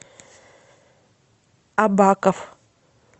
абаков